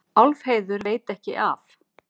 Álfheiður veit ekki af